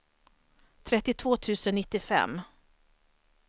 trettiotvå tusen nittiofem